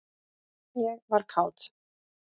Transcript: ég var kát.